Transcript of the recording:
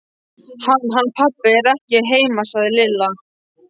Hann. hann pabbi er ekki heima sagði Lilla.